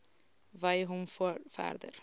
wy hom verder